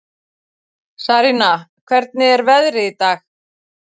Sarína, hvernig er veðrið í dag?